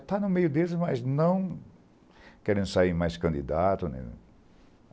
Estava no meio deles, mas não querendo sair mais candidato.